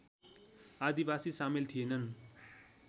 आदिवासी सामेल थिएनन्